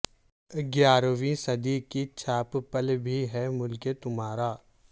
گیارہویں صدی کی چاپ پل بھی ہے ملکہ تمارا